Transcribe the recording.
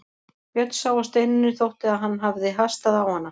Björn sá að Steinunni þótti að hann hafði hastað á hana.